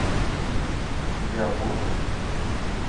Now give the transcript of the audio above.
у тебя будет